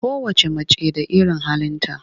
Kowacce mace da irin halinta.